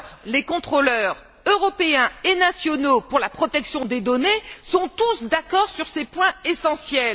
Les contrôleurs européens et nationaux pour la protection des données sont tous d'accord sur ces points essentiels.